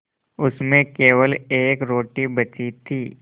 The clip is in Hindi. उसमें केवल एक रोटी बची थी